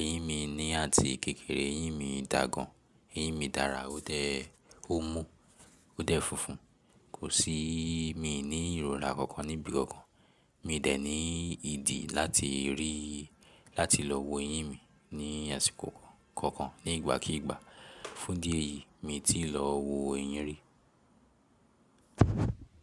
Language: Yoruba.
Eyín mi ni àti kékeré, eyín mi dà gan. Eyín mi dára, ó dẹ̀, ó mú, ó dẹ̀ funfun. Kò sí, mi n í ìrora kankan níbi kankan. Mi dẹ̀ n í ìdí láti rí, láti lọ wo eyín mi ní àsìkò kankan ní ìgbàkígbà. Fún dí èyí, mi ti lọ wo eyín rí.